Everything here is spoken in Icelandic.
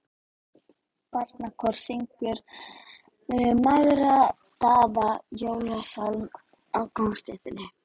Barnakór syngur margraddaðan jólasálm á gangstétt.